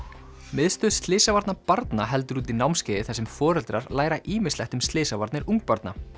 miðstöð slysavarna barna heldur úti námskeiði þar sem foreldrar læra ýmislegt um slysavarnir ungbarna